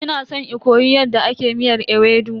Ina san in koyi yadda ake miyar ewedu.